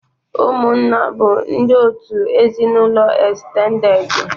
Ụmụ nna bụ ndi òtù ezinụlọ estendedị.